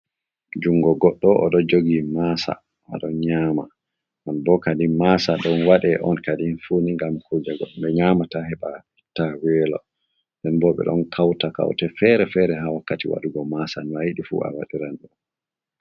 Jungo goɗɗo, o ɗo jogi maasa, o ɗon nyama. Non bo kadi masa ɗon waɗe on kadin fuuni ngam kuje goɗɗo nyamata heɓa itta welo. Nden bo ɓe ɗon kauta kaute fere-fere ha wakkati waɗugo maasa, no ayiɗi fu a waɗiran ɗum.